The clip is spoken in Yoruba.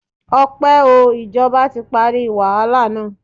Ọpẹ́ o. Ìjọba ti parí wàhálà na.